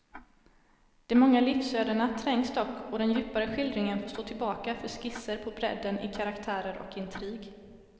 De många livsödena trängs dock och den djupare skildringen får stå tillbaka för skisser på bredden i karaktärer och intrig.